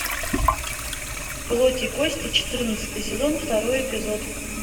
плоть и кости четырнадцатый сезон второй эпизод